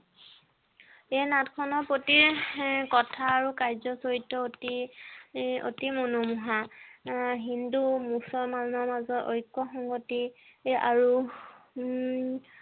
এই নাট খনৰ প্ৰতি কথা আৰু কাৰ্য চৰিত্ৰ অতি অতি মনোমোহা হিন্দু মুছলমানৰ মাজত ঐক্য আৰু হম